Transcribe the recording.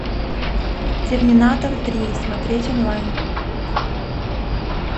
терминатор три смотреть онлайн